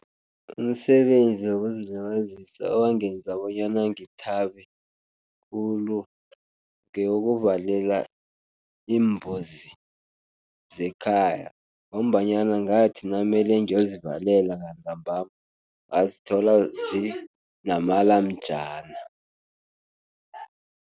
Umsebenzi wokuzilibazisa owangenza bonyana ngithabe khulu, ngewokuvalela iimbuzi zekhaya ngombanyana ngathi namele ngiyozivalela ngantambama ngazithola zinamalamjana.